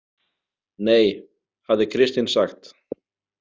Nei, hafði Kristín sagt.